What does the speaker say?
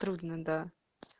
трудно да